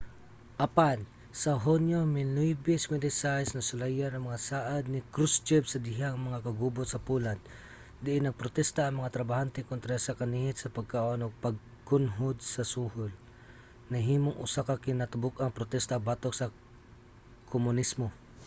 apan sa hunyo 1956 nasulayan ang mga saad ni krushchev sa dihang ang mga kagubot sa poland diin nagprotesta ang mga trabahante kontra sa kanihit sa pagkaon ug pagkunhod sa suhol nahimong usa ka kinatibuk-ang protesta batok sa komunismo